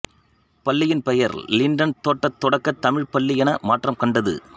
பள்ளியின் பெயர் லிண்டன் தோட்டத் தொடக்கத் தமிழ்ப்பள்ளி என மாற்றம் கண்டது